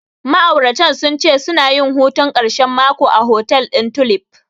Ma'auratan sun ce suna yin hutun ƙarshen mako a hotel ɗin Tulif.